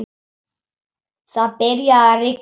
Svo byrjaði að rigna.